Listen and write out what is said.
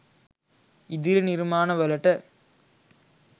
ඉදිරි නිර්මාණ වලට.